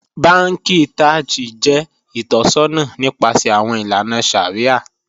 Bànkì Taj jẹ itọ̀ṣọna nipasẹ̀ awọn ilànà shàríà.